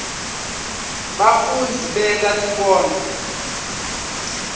bafundzi benta tinkondlo